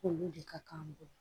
Olu de ka kan an bolo